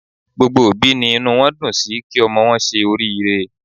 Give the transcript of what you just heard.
Gbogbo òbí ni inú wọn dùn sí kí ọmọ wọn ṣe oriire.